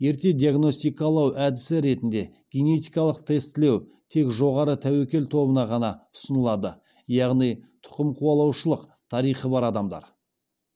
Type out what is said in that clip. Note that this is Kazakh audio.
ерте диагностикалау әдісі ретінде генетикалық тестілеу тек жоғары тәуекел тобында ғана ұсынылады яғни тұқымқуалаушылық тарихы бар адамдар